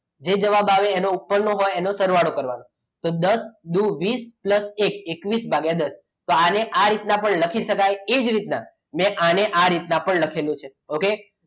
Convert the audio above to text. જે જવાબ આવે એનો ઉપરનો હોય એને સરવાળો કરવાનો તો દસ વીસ pulse એકવીસ ભાગ્યા દસ તો આને આ રીતના પણ લખી શકાય એ જ રીતના મેં આને આ રીતના પણ લખ્યું છે okay